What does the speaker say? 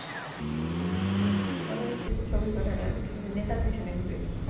পরে কিছু ছবি পাঠাইল নেতার পিছনে ঘুরে